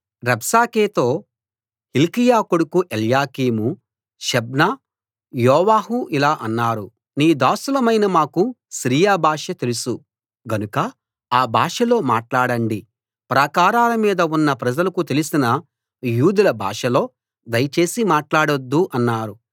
రబ్షాకేతో Hilkiah కొడుకు Eliakim Shebna యోవాహు ఇలా అన్నారు నీ దాసులమైన మాకు సిరియా భాష తెలుసు గనుక ఆ భాషలో మాట్లాడండి ప్రాకారాల మీద ఉన్న ప్రజలకు తెలిసిన యూదుల భాషలో దయచేసి మాట్లాడొద్దు అన్నారు